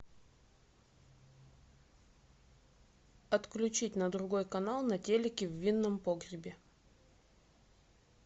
отключить на другой канал на телике в винном погребе